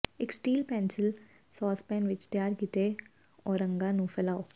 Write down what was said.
ਇੱਕ steel pencil saucepan ਵਿੱਚ ਤਿਆਰ ਕੀਤੇ ਔਰੰਗਾਂ ਨੂੰ ਫੈਲਾਓ